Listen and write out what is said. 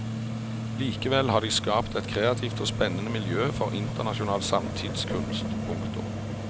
Likevel har de skapt et kreativt og spennende miljø for internasjonal samtidskunst. punktum